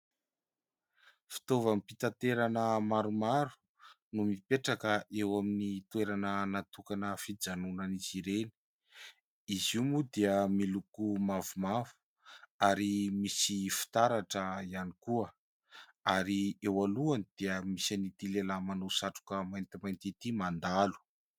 Fitaovam-pitaterana maromaro no mipetraka eo amin'ny toerana natokana ho fijanonan'izy ireny. Izy io moa dia miloko mavomavo ary misy fitaratra ihany koa, ary eo alohany dia misy an'itỳ lehilahy manao satroka maintimainty itỳ mandalo.